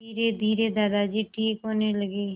धीरेधीरे दादाजी ठीक होने लगे